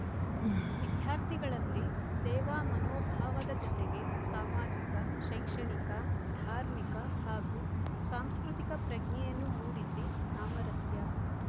ವಿದ್ಯಾರ್ಥಿಗಳಲ್ಲಿ ಸೇವಾ ಮನೋಭಾವದ ಜತೆಗೆ ಸಾಮಾಜಿಕ ಶೈಕ್ಷಣಿಕ ಧಾರ್ಮಿಕ ಹಾಗೂ ಸಾಂಸ್ಕೃತಿಕ ಪ್ರಜ್ಞೆಯನ್ನು ಮೂಡಿಸಿ ಸಾಮರಸ್ಯ